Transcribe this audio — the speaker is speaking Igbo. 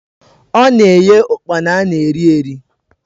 Ọ na-eghe ụkpana ana eri eri